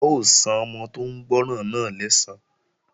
A ó san ọmọ tó ń gbọ́ràn náà lẹ́san